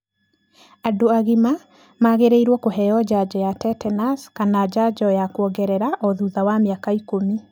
Andũ agima magĩrĩiro kũheo njanjo ya tetenaci kana njanjo ya kwongerera o thutha wa mĩaka ikũmi.